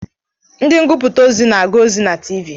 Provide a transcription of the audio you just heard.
Ndị ngụputa ozi na-ahụ ozi na Tiivii